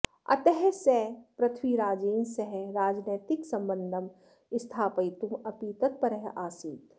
अतः सः पृथ्वीराजेन सह राजैनितिकसम्बन्धं स्थापयितुम् अपि तत्परः आसीत्